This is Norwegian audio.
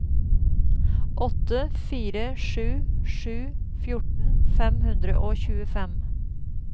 åtte fire sju sju fjorten fem hundre og tjuefem